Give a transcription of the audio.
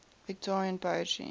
victorian poetry